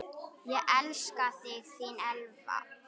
Ég elska þig, þín Elva.